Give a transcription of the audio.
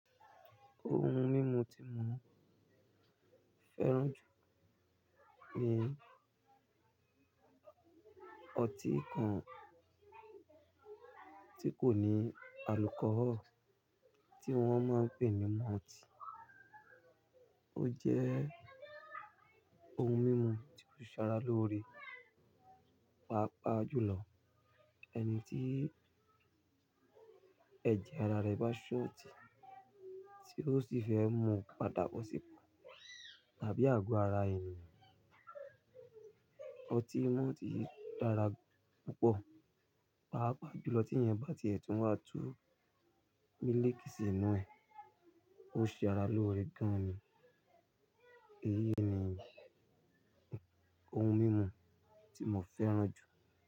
Ohun mímu tí mo fẹ́ràn jù ni ọtí kan tí kò ní alcohol tí wón máa ń pè ní malt. Ó jẹ́ ohun mímu tí ó ṣe ara lóore, pàápàá jùlọ ẹni tí ẹ̀jẹ̀ ara rẹ bá ṣó ti, tí ó sì fẹ́ mu pàtàkò sì pa tàbí àgọ́ ara ènìyàn. Ọtí malt yí dára púpọ̀, pàápàá jùlọ tí ìyẹn bá ti ètù watú mílíkì sínú ẹ̀, ó ṣe ara lóore gan ni. Èyí ni ohun mímu tí mo fẹ́ràn jù.